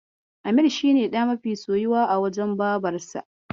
Amir shi ne ɗa mafi soyuwa a wajen Babarsa.